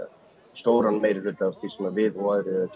stóran meirihluta af því sem við og